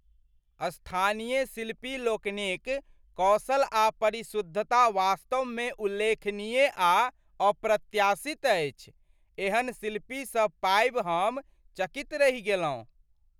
स्थानीय शिल्पी लोकनिक कौशल आ परिशुद्धता वास्तवमे उल्लेखनीय आ अप्रत्याशित अछि। एहन शिल्पी सब पाबि हम चकित रहि गेलहुँ।